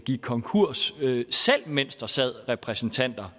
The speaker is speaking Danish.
gik konkurs selv mens der sad repræsentanter